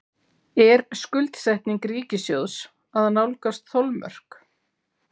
Er skuldsetning ríkissjóðs að nálgast þolmörk?